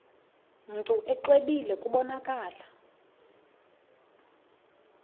mntu exwebile kubonakala